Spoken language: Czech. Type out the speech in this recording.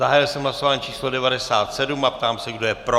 Zahájil jsem hlasování číslo 97 a ptám se, kdo je pro.